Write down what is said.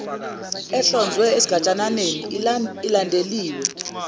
ehlonzwe esigatshaneni ilandeliwe